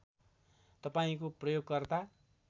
तपाईँको प्रयोगकर्ता